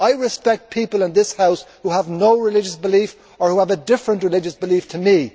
I respect people in this House who have no religious belief or who have a different religious belief to me.